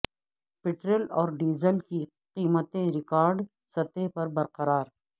petrol اور diesel کی قیمتیں ریکارڈ سطح پر برقرار